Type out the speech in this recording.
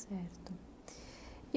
Certo.